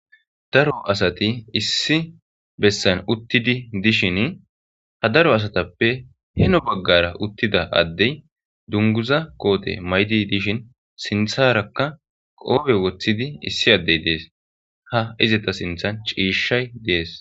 Daro asathi issi bessan uththidi dishini ha daro asathappe heno baggaara uththida adde dungguzza koote maydi dishin sinththaarakka qophe woththidi issi addee de7ees; ha izetha sinththan ciishshay de7ees.